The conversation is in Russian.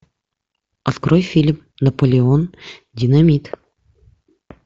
открой фильм наполеон динамит